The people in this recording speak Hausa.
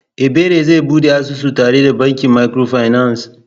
Ebere zai bude asusu tare da bankin microfinance?